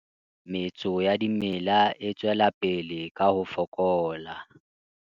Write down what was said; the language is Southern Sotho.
Metso ya dimela e tswela pele ka ho fokola.